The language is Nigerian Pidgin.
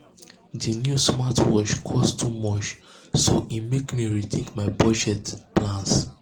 di new smartwatch cost too much um so e mek me rethink my budget plans.